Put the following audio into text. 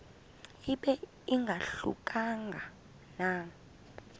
ibe ingahluka nanga